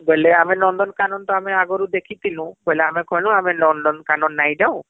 ବୋଇଲେ ଆମେ ନନ୍ଦନକାନନ ତ ଆମେ ଆଗରୁ ଦେଖିଥିଲୁ ବୋଇଲେ ଆମେ କହିଲୁ ଆମେ ନନ୍ଦନକାନନ ନାଇଁ ଜାଉ